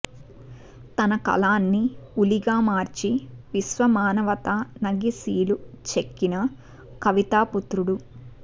తన కలాన్ని ఉలిగా మార్చి విశ్వమానవతా నగిశీలు చెక్కిన కవితా పుత్రుడు